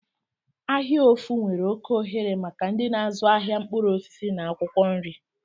Ahia ofu nwere oke ohere maka ndị na-azụ ahịa mkpụrụ osisi na akwụkwọ nri.